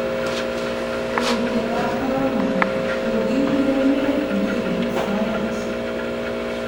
Kuutietab Korona:Kokiurerene mbiret soet